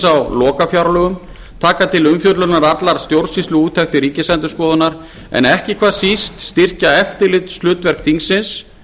á lokafjárlögum taka til umfjöllunar allar stjórnsýsluúttektir ríkisendurskoðunar en ekki hvað síst styrkja eftirlitshlutverk þingsins